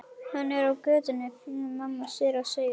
Hann er á götunni, flýtir mamma sér að segja.